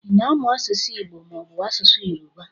Ịna amụ asụsụ Igbo mọọbụ asụsụ Yoruba?